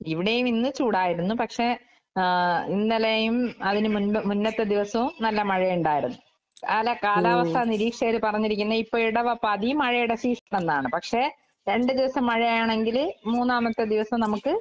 ഇവടെയും ഇന്ന് ചൂടായിരുന്നു. പക്ഷെ ആഹ് ഇന്നലെയും അതിന് മുൻപ് മുന്നത്തെ ദിവസവും നല്ല മഴയുണ്ടായിരുന്നു. കാല കാലാവസ്ഥാ നിരീക്ഷകര് പറഞ്ഞിരിക്കുന്നെ ഇപ്പ ഇടവപ്പാതി മഴയുടെ സീസൺ എന്നാണ്. പക്ഷെ രണ്ട്‍ ദിവസം മഴയാണെങ്കില് മൂന്നാമത്തെ ദിവസം നമക്ക്